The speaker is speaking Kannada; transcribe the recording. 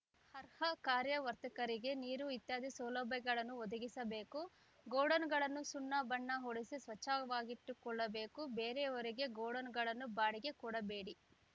ಅರ್ಹ ಕಾರ್ಯವರ್ತಕರಿಗೆ ನೀರು ಇತ್ಯಾದಿ ಸೌಲಭ್ಯಗಳನ್ನು ಒದಗಿಸಬೇಕು ಗೋಡನ್‌ಗಳನ್ನು ಸುಣ್ಣ ಬಣ್ಣ ಹೊಡಿಸಿ ಸ್ವಚ್ಛವಾಗಿಟ್ಟುಕೊಳ್ಳಬೇಕು ಬೇರೆಯವರಿಗೆ ಗೋಡನ್‌ಗಳನ್ನು ಬಾಡಿಗೆ ಕೊಡಬೇಡಿ